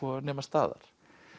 nema staðar